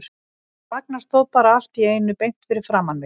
En Ragnar stóð bara allt í einu beint fyrir framan mig.